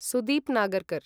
Sudeep Nagarkar